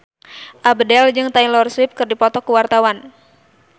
Abdel jeung Taylor Swift keur dipoto ku wartawan